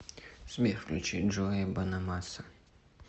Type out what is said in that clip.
сбер включи джо бонамасса